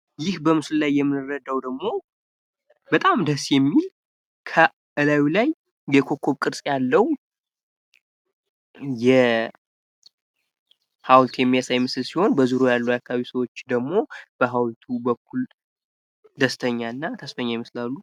ይህ በምስሉ ላይ የምንረዳው ደግሞ በጣም ደስ የሚል እላዪ ላይ የኮከብ ቅርጽ ያለው ሀውልት የሚያሳይ ሲሆን በዙሪያው ያሉ የአካባቢ ሰዎች ደግሞ በሀውልቱ በኩል ደስተኛ እና ተስፈኛ ይመስላሉ።